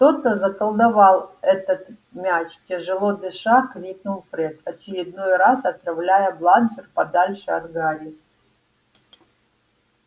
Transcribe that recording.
кто-то заколдовал этот мяч тяжело дыша крикнул фред очередной раз отправляя бладжер подальше от гарри